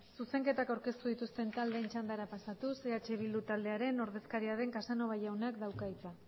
zuzenketak aurkeztu dituzten taldeen txandara pasatuz eh bildu taldearen ordezkaria den casanova jaunak dauka hitza